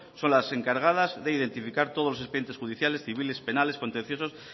son las encargadas de identificar todos los expedientes judiciales civiles penales contenciosos